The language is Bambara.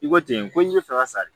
I ko ten ko n k'i bɛ fɛ ka sari